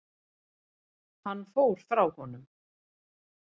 Hann fór frá honum.